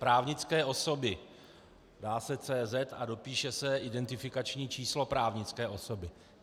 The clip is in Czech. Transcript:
Právnické osoby - dá se CZ a dopíše se identifikační číslo právnické osoby.